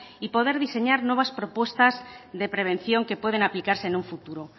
y poder diseñar nuevas propuestas de prevención que pueden aplicarse en un futuro